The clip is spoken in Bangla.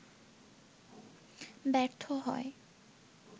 ব্যর্থ হয়